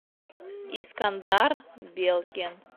искандар белкин